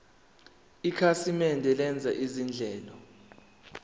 ikhasimende lenza izinhlelo